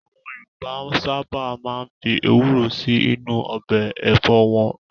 Àwọn Yorùbá sáábà máa ń fi Ewúró sì inú ọbẹ̀ Ẹ̀fọ́ wọn